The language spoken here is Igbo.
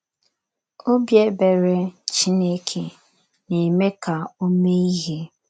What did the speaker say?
“ Obi ebere ” Chineke na - eme ka o mee ihe.